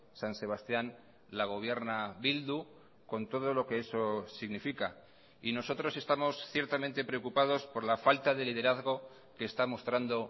san sebastián la gobierna bildu con todo lo que eso significa y nosotros estamos ciertamente preocupados por la falta de liderazgo que está mostrando